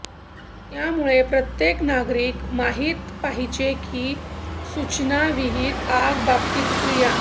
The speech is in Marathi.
त्यामुळे प्रत्येक नागरिक माहित पाहिजे की सूचना विहित आग बाबतीत क्रिया